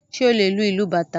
Ṣé o lè lu ìlú bàtá?